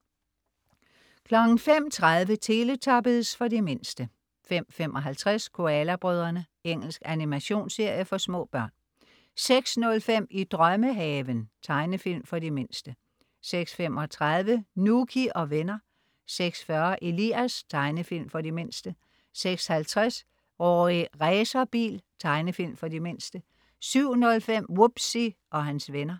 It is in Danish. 05.30 Teletubbies. For de mindste 05.55 Koala brødrene. Engelsk animationsserie for små børn 06.05 I drømmehaven. Tegnefilm for de mindste 06.35 Nouky og venner 06.40 Elias. Tegnefilm for de mindste 06.50 Rorri Racerbil. Tegnefilm for de mindste 07.05 Wubbzy og hans venner